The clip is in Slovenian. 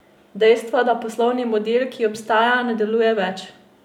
Dejstvo, da poslovni model, ki obstaja, ne deluje več!